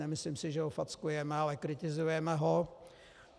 Nemyslím si, že ho fackujeme, ale kritizujeme ho.